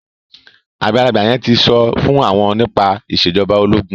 àgbàlagbà yen tí so fún wón nípa Ìṣèjọba ológun.